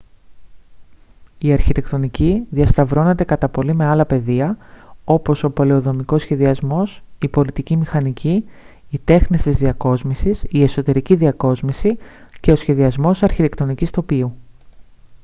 η αρχιτεκτονική διασταυρώνεται κατά πολύ με άλλα πεδία όπως ο πολεοδομικός σχεδιασμός η πολιτική μηχανική οι τέχνες της διακόσμησης η εσωτερική διακόσμηση και ο σχεδιασμός αρχιτεκτονικής τοπίου